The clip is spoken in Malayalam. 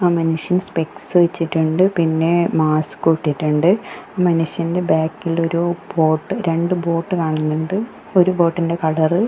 ആ മനുഷ്യൻ സ്പെക്സ് വച്ചിട്ടുണ്ട് പിന്നെ മാസ്കും ഇട്ടിറ്റുണ്ട് ആ മനുഷ്യൻ്റെ ബാക്കില് ഒരു ബോട്ട് രണ്ട് ബോട്ട് കാണുന്നുണ്ട് ഒരു ബോട്ടിൻ്റെ കളറ് --